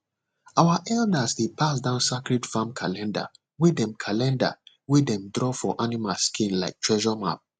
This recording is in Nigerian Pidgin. our elders dey pass down sacred farm calendar wey dem calendar wey dem draw for animal skin like treasure map